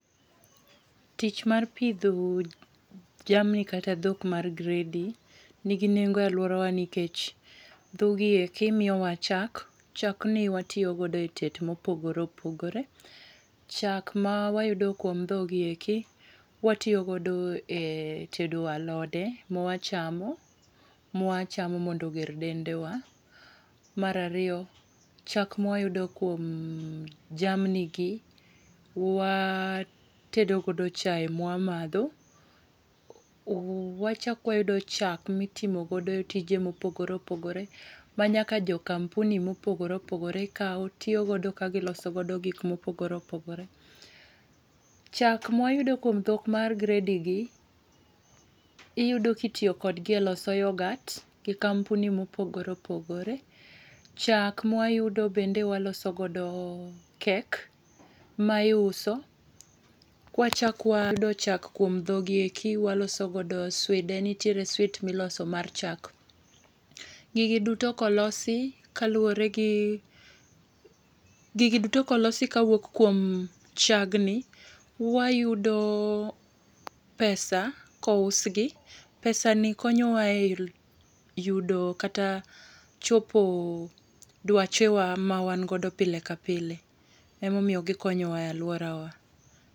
Tich mar pidho jamni kata dhok mar gredi nigi nengo e alwora wa nikech dhoggi eki miyo wa chak. Chak ni watiyo godo e tet mopogore opogore. Chak ma wayudo kuom dhog gi eki watiyo godo e tedo alode mwachamo, mwachamo mondo oger dende wa. Mar ariyo, chak mwayudo kuom jamni gi watedo godo chae mwamadho. Wachak wayudo chak mitimo godo tije mopogore opogre ma nyaka jo kampuni mopogore opogore kao tiyo godo ka giloso godo gik mopogore opogore. Chak mwayudo kuom dhok mar gredi gi iyudo kitiyo kodgi e loso yoghurt gi kampuni mopogore opogore. Chak mwayudo bende waloso godo kek ma iuso. Kwachak wayudo chak kuom dhog gieki waloso godo swide, nitiere swit miloso mar chak. Gigi duto kolosi kaluwore gi, gigi duto kolosi kawuok kuom chag ni wayudo pesa kous gi. Pesa ni konyo wa e yudo kata chopo dwache wa ma wan godo pile ka pile. Emomiyo gikonyo wa e alwora wa.